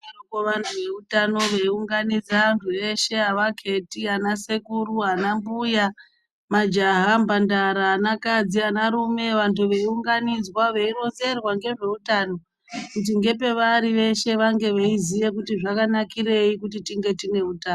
Vaidarokwo vantu veiutano veiunganidza vantu veshe avaketi ana sekuru ana mbuya majaha mpantara ana kadzi anarume vantu veiunganidzwa veironzerwa ngezveutano kuti ngepavari veshe vange veiziye kuti zvakanakirei kuti tinge tine utano.